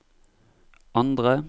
andre